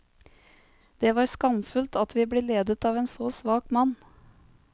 Det var skamfullt at vi ble ledet av en så svak mann.